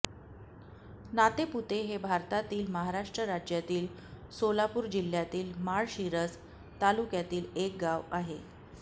नातेपुते हे भारतातील महाराष्ट्र राज्यातील सोलापूर जिल्ह्यातील माळशिरस तालुक्यातील एक गाव आहे